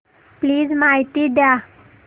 please माहिती द्या